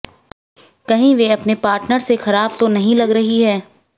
कहीं वे अपने पार्टनर से खराब तो नहीं लग रही है